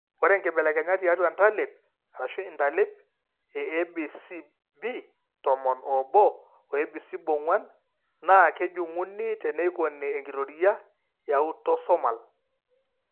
Ore inkibelekenyat tiatua entalip (intalip) eABCBtomon oobo o ABCBong'uan naa kejung'uni teneikoni enkitoria eautosomal.